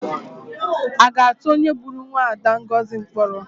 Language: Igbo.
A ga-atụ onye gburu mwaada Ngozi mkpọrọ?